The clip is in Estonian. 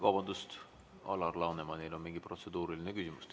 Vabandust, Alar Lanemanil on mingi protseduuriline küsimus.